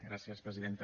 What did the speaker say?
gràcies presidenta